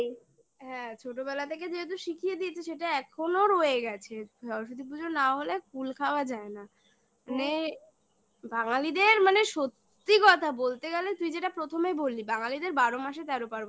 হ্যাঁ ছোটবেলা থেকে যেহেতু শিখিয়ে দিয়েছি সেটা এখনো রয়ে গেছে সরস্বতী পুজো না হলে কুল খাওয়া যায় না মানে বাঙালিদের মানে সত্যি কথা বলতে গেলে তুই যেটা প্রথমেই বলিস বাঙালিদের বারো মাসে তেরো পার্বণ